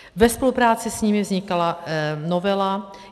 Ve spolupráci s nimi vznikala novela.